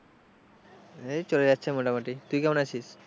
এই চলে যাচ্ছে মোটামুটি তুই কেমন আছিস?